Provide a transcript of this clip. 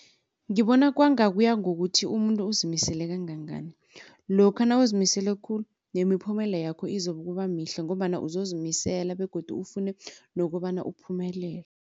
Ngibona kwanga kuya ngokuthi umuntu uzimisele kangangani. Lokha nawuzimisele khulu nemiphumela yakho izokuba mihle ngombana uzozimisela begodu ufune nokobana uphumelele.